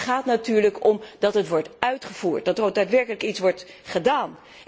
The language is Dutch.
Maar het gaat er natuurlijk om dat plannen worden uitgevoerd, dat er ook daadwerkelijk iets wordt gedaan.